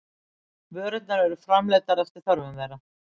Vörurnar eru framleiddar eftir þörfum þeirra.